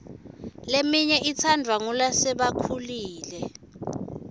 leminye itsandvwa ngulasebakhulile